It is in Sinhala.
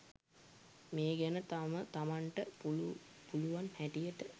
මේ ගැන තම තමන්ට පුළු පුළුවන් හැටියට